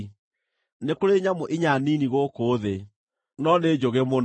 “Nĩ kũrĩ nyamũ inya nini gũkũ thĩ, no nĩ njũgĩ mũno: